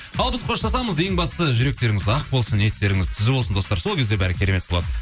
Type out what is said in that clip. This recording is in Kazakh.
ал біз қоштасамыз ең бастысы жүректеріңіз ақ болсын ниеттеріңіз түзу болсын достар сол кезде бәрі керемет болады